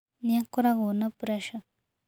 Nĩ akoragwo na preca.